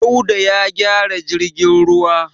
Dauda ya gyara jirgin ruwa.